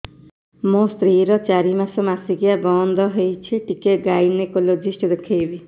ମୋ ସ୍ତ୍ରୀ ର ଚାରି ମାସ ମାସିକିଆ ବନ୍ଦ ହେଇଛି ଟିକେ ଗାଇନେକୋଲୋଜିଷ୍ଟ ଦେଖେଇବି